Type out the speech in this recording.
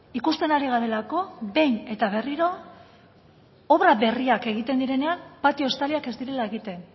ikusten ari garelako behin eta berriro obra berriak egiten direnean patio estaliak ez direla egiten